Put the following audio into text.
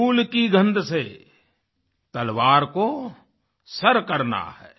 फूल की गंध से तलवार को सर करना है